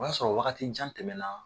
O y'a sɔrɔ wagati jan tɛmɛ na.